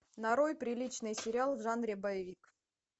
нарой приличный сериал в жанре боевик